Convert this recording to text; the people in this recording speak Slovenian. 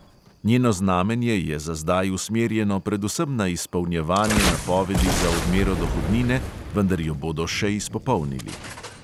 Njeno znanje je za zdaj usmerjeno predvsem na izpolnjevanje napovedi za odmero dohodnine, vendar jo bodo še izpopolnili.